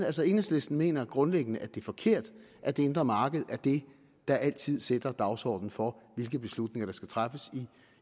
altså enhedslisten mener grundlæggende at det er forkert at det indre marked er det der altid sætter dagsordenen for hvilke beslutninger der skal træffes i